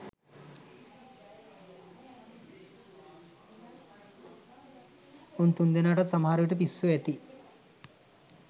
උන් තුන්දෙනාටත් සමහරවිට පිස්සු ඇති.